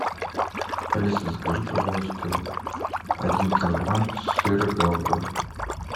алиса закажи пожалуйста один килограмм сыра гауда